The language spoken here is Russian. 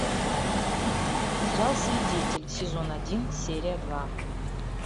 сериал свидетель сезон один серия два